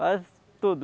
Faz tudo.